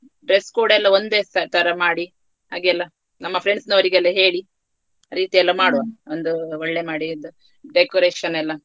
dress code ಎಲ್ಲಾ ಒಂದೇ ತರಮಾಡಿ ಹಾಗೆಲ್ಲ ನಮ್ಮ friends ನವರಿಗೆ ಹೇಳಿ ರೀತಿ ಎಲ್ಲ ಮಾಡುವ ಒಂದು ಒಳ್ಳೆ ಮಾಡಿ decoration ಎಲ್ಲಾ.